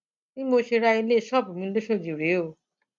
bí mo ṣe ra ilé ṣọọbù mi lọsọdì rèé o